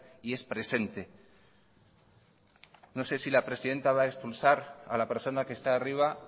y es presente no sé si la presidenta va a expulsar a la persona que está arriba